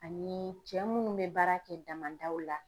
Ani cɛ munnu bɛ baara kɛ damadaw la.